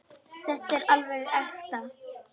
Þetta er alveg ekta.